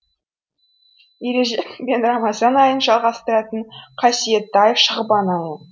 ережеп пен рамазан айын жалғастыратын қасиетті ай шағбан айы